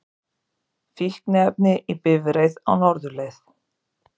Fíkniefni í bifreið á norðurleið